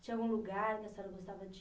Tinha algum lugar que a senhora gostava